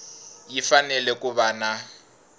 yi fanele ku va na